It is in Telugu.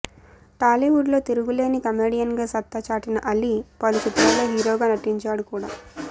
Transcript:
టాలీవుడ్ లో తిరుగులేని కమెడియన్ గా సత్తా చాటిన అలీ పలు చిత్రాల్లో హీరోగా నటించాడు కూడా